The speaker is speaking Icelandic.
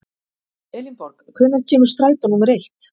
Elinborg, hvenær kemur strætó númer eitt?